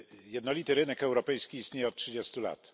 Jednolity rynek europejski istnieje od 30 lat.